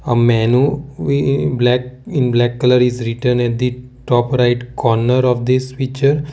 a menu we in black colour is written in the top right corner of the switch.